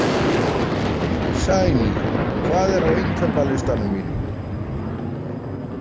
Sæný, hvað er á innkaupalistanum mínum?